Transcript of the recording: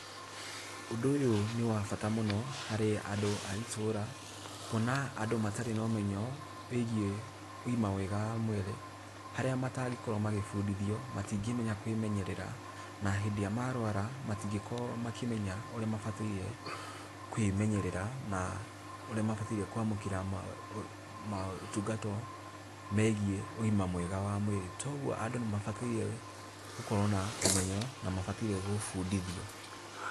Ũndũ ũyũ nĩ wa bata mũno, harĩ andũ a itũra, kuona andũ matarĩ na ũmenyo wĩgie ũgima mwega wa mwĩrĩ, harĩa matangĩkorwo magĩbũndithio matingĩhota kwimenyerera na hĩndĩ ĩria marwara matingĩkorwo makĩmenya ũrĩa mabatairie kwĩmenyerera na ũrĩa mabatare kwamũkĩra motungatwo megĩe ũgima mwega wa mwĩrĩ, to ũgũo andũ nĩ mabatairwo gũkorwo na ũmenyo na nĩ mabataire gũbũndithio.